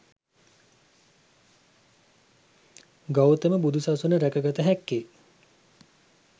ගෞතම බුදු සසුන රැකගත හැක්කේ